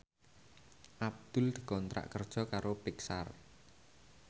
Abdul dikontrak kerja karo Pixar